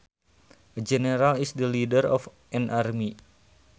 A general is the leader of an army